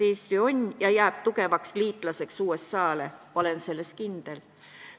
Eesti on USA tugev liitlane ja jääb selleks, olen selles kindel.